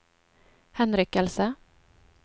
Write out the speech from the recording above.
henrykkelse